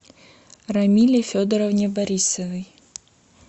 рамиле федоровне борисовой